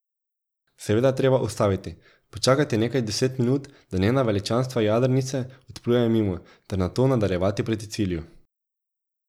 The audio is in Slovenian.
Seveda je treba ustaviti, počakati nekaj deset minut, da njena veličanstva jadrnice odplujejo mimo, ter nato nadaljevati proti cilju.